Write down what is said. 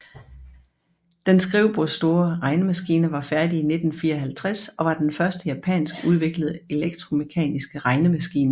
Den skrivebordsstore regnemaskine var færdig i 1954 og var den første japansk udviklede elektromekaniske regnemaskine